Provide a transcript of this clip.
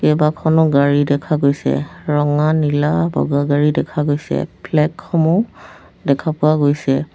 কেইবাখনো গাড়ী দেখা গৈছে ৰঙা নীলা বগা গাড়ী দেখা গৈছে ফ্লেগসমূহ দেখা পোৱা গৈছে।